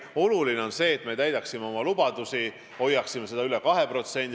Oluline on, et me täidaksime oma lubadusi, hoiaksime selle üle 2%.